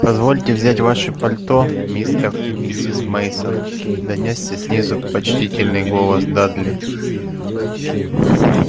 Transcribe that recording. позвольте взять ваши пальто мистер и миссис мейсон донёсся снизу почтительный голос дадли